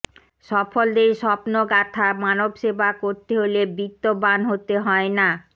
সফলদের স্বপ্নগাথা মানবসেবা করতে হলে বিত্তবান হতে হয় না